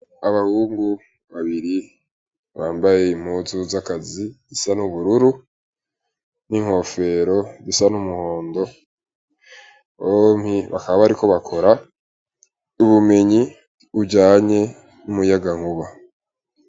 Abahungu babiri bambaye impuzu z'akazi gisa n'ubururu n'inkofero gisa n'umuhondo ompi bakaba bariko bakora y'ubumenyi ujanye n'umuyaga nkuba.